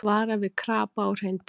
Vara við krapa og hreindýrum